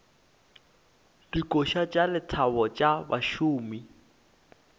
dikoša tša lethabo tša bašomi